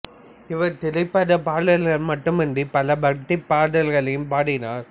இவர் திரைப்பட பாடல்கள் மட்டுமின்றி பல பக்தி பாடல்களையும் பாடினார்